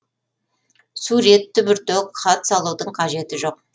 сурет түбіртек хат салудың қажеті жоқ